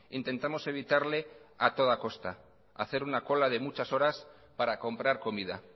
intentamos evitarle a toda costa hacer una cola de muchas horas para comprar comida